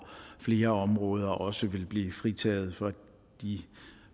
flere områder også vil blive fritaget for de